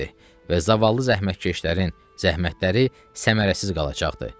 Və zavallı zəhmətkeşlərin zəhmətləri səmərəsiz qalacaqdır.